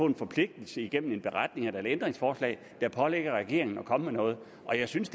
en forpligtelse gennem en beretning eller et ændringsforslag der pålægger regeringen at komme med noget og jeg synes